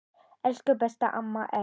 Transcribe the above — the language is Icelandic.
Elsku besta amma Erla.